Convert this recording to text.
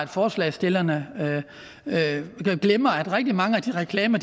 forslagsstillerne glemmer at rigtig mange af de reklamer